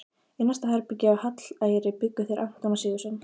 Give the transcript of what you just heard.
Í næsta herbergi, á Hallæri, bjuggu þeir Anton Sigurðsson